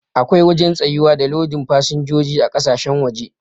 Akwai wajen tsayuwa da lodin fasinjojin kasashen waje.